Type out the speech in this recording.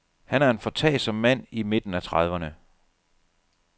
Han er en foretagsom mand i midten af trediverne.